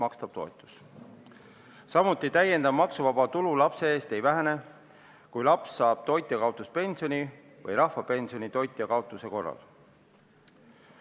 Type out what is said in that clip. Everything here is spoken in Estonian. Samuti ei vähene täiendav maksuvaba tulu lapse eest, kui laps saab toitjakaotuspensioni või rahvapensioni toitja kaotuse korral.